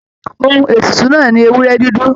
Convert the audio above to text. Òhun ètùtù náà ní ewúrẹ dúdú.